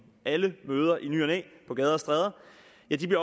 alle møder i ny og næ på gader og stræder